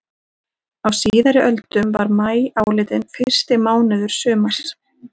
Á síðari öldum var maí álitinn fyrsti mánuður sumars.